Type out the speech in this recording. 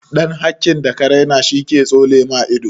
Ɗan hakin da ka raina shi ke tsole ma ido.